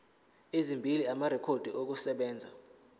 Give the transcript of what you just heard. ezimbili amarekhodi okusebenza